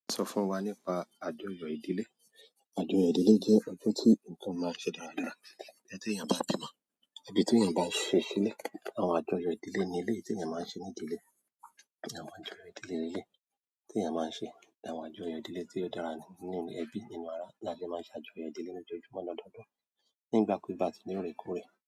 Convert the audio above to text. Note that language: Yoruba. Sọ fún wa nípa àjọyọ̀ ìdílé. Àjọyọ̀ ìdílé jẹ́ ọjọ́ tí ǹkan máa ń ṣe dáradára. Bí tí èèyàn bá bímọ, àbí tí èèyàn bá ṣe ṣílẹ̀. Àwọn àjọyọ̀ ìdílé ní eléyìí tí èèyàn máa ń ṣe ní ìdílé. Àwọn àjọyọ̀ ìdílé leleyii tí èèyàn máa ń ṣe. Àwọn àjọyọ̀ ìdílé tí ó dára nínú ẹ̀bí nínú ara la lé máa ń ṣe àjọyọ̀ ìdílé lójoojúmọ́ lọ́dọọ́dún. Ni igbakugba ti ni orekoore.